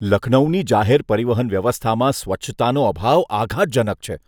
લખનૌની જાહેર પરિવહન વ્યવસ્થામાં સ્વચ્છતાનો અભાવ આઘાતજનક છે.